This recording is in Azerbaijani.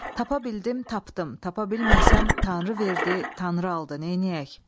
Tapa bildim, tapdım, tapa bilməsəm Tanrı verdi, Tanrı aldı, neyləyək?